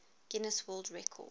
guinness world record